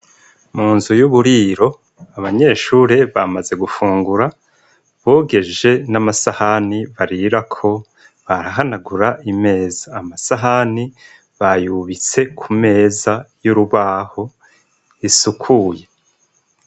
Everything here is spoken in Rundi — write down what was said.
Mu nzu y'uburiro abanyeshure bamaze gufungura bogeje n'amasahani barirako, barahanagura imeza. Amasahani bayubitse ku meza y'urubaho isukuye.